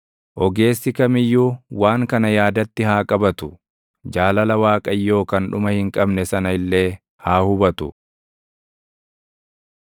Ogeessi kam iyyuu waan kana yaadatti haa qabatu; jaalala Waaqayyoo kan dhuma hin qabne sana illee haa hubatu.